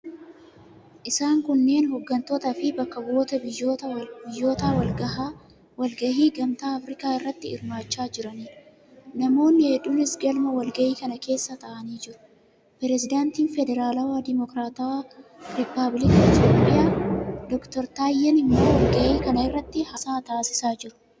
Isaan kunneen hoggantootaafi bakka bu'oota biyyootaa walgahii Gamtaa Afirikaa irratti hirmaachaa jiraniidha. Namoonni hedduunis galma walgahii kana keessa taa'anii jiru. Pirezidaantiin Federaalawaa Dimokiraatawaa Rippaabilika Itiyoophiyaa Dr. Taayyeen immoo walgahii kana irratti haasaa taasisaa jiru.